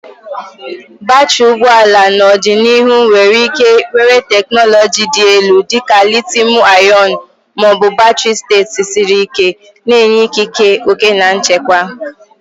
Batrị ụgbọ ala n'ọdịnihu nwere ike were teknụzụ dị elu dị ka litiiumu-ionu ma ọ bụ batrị steeti siri ike, na-enye ikike, oke na nchekwa.